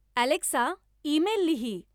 Alexa, email लिही.